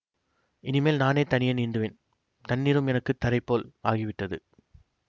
இனிமேல் நானே தனியே நீந்துவேன் தண்ணீரும் எனக்கு தரைபோல் ஆகிவிட்டது